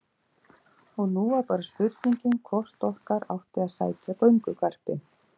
Og nú var bara spurningin hvort okkur átti að sækja göngugarpinn.